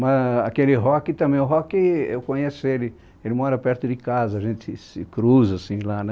Mas aquele rock também, o rock eu conheço ele, ele mora perto de casa, a gente se cruza assim lá, né?